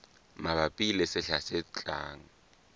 mabapi le sehla se tlang